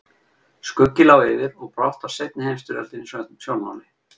Skuggi lá yfir og brátt var seinni heimsstyrjöldin í sjónmáli.